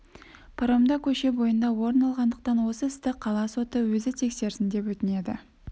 паромда көше бойында орын алғандықтан осы істі қала соты өзі тексерсін деп өтінеді